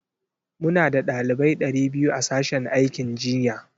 Muna da ɗalibai ɗari biyu a sashen aikin jinya.